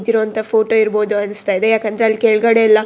ನಿಂತಿರೋವಂತಹ photo ಇರ್ಬೋದು ಅನ್ಸ್ತಾ ಇದೆ ಯಾಕಂದ್ರೆ ಅಲ್ಲ್ ಕೆಳಗಡೆ ಎಲ್ಲ--